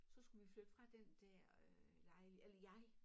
Så skulle vi flytte fra den der øh eller jeg